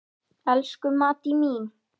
Elsku Maddý mín.